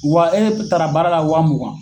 Wa e taara baara la wa mugan.